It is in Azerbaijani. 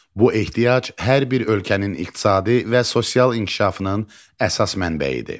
Bu ehtiyac hər bir ölkənin iqtisadi və sosial inkişafının əsas mənbəyidir.